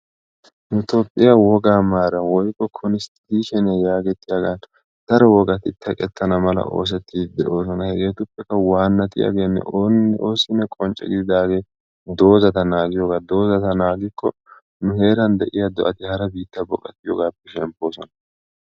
Nu Toophiyaa wogaa maaran woykko konstitushniya yaagetetiyaa yaagetiyagappe daro wogaati teqqetana mala oosettidi deosona. Hageetuppekka waannatiyage oonne oosine qoncce gididage dozata naaggiyoga. Dozata naaggikko nu heeraan de'iya do'ati harasa baqatiyogappe shemmpposona.